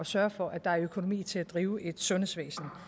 sørge for at der er økonomi til at drive et sundhedsvæsen